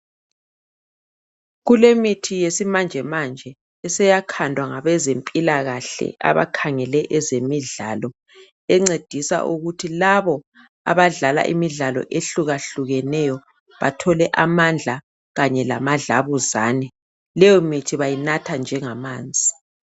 Kulemithi yesimanjemanje eseyakhandwa ngabezempilakahle abakhangele ezemidlalo encedisa ukuthi labo abadlala imidlalo eyehlukeneyo bathole amandla kanye lamadlabuzane. Leyomithi bayinatha njengamanzi.